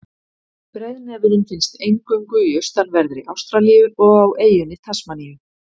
Breiðnefurinn finnst eingöngu í austanverðri Ástralíu og á eyjunni Tasmaníu.